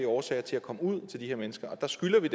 årsager til at komme ud til de her mennesker og der skylder vi